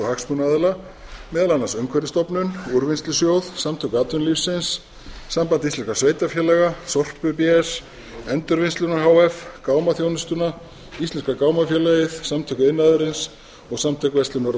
og hagsmunaaðila á umhverfisstofnun úrvinnslusjóð samtök atvinnulífsins samband íslenskra sveitarfélaga sorpu bs endurvinnsluna h f gámaþjónustuna íslenska gámafélagið samtök iðnaðarins og samtök verslunar og